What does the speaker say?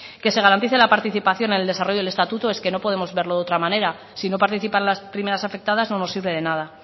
que se garantice la participación en el desarrollo del estatuto es que no podemos verlo de otra manera si no participan las primeras afectadas no nos sirve de nada